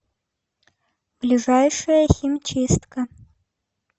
ближайшая химчистка